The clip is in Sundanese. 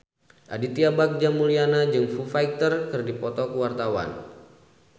Aditya Bagja Mulyana jeung Foo Fighter keur dipoto ku wartawan